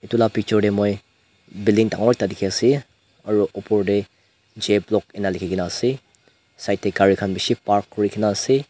etu la picture tey moi building dangor ekta dikhi ase aro opor tey jblock eneka likhi kena ase side tey gari khan bishi park kuri kena ase.